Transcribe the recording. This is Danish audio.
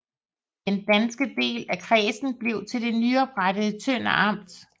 Den danske del af kredsen blev til det nyoprettede Tønder Amt